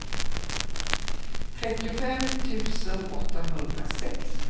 trettiofem tusen åttahundrasex